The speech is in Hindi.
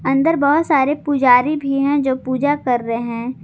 अंदर बहोत सारे पुजारी भी हैं जो पूजा कर रहे हैं।